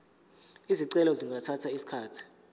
izicelo zingathatha isikhathi